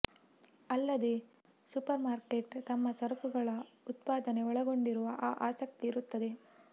ಅಲ್ಲದೆ ಸೂಪರ್ಮಾರ್ಕೆಟ್ ತಮ್ಮ ಸರಕುಗಳ ಉತ್ಪಾದನೆ ಒಳಗೊಂಡಿರುವ ಆ ಆಸಕ್ತಿ ಇರುತ್ತದೆ